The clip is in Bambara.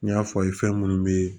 N y'a fɔ aw ye fɛn munnu be yen